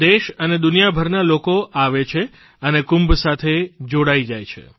દેશ અને દુનિયાભરના લોકો આવે છે અને કુંભ સાથે જોડાઇ જાય છે